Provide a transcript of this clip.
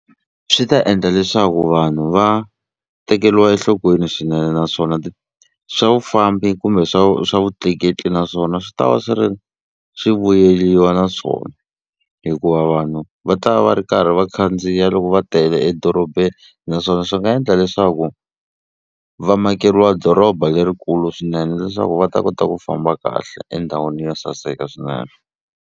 Swi ta endla leswaku vanhu va tekeriwa enhlokweni swinene naswona swa vufambi kumbe swa swa vutleketli naswona swi ta va swi ri swi vuyeriwa na swona hikuva vanhu va ta va va ri karhi va khandziya loko va tele edorobeni naswona swi nga endla leswaku va makeriwa doroba lerikulu swinene leswaku va ta kota ku famba kahle endhawini yo saseka swinene.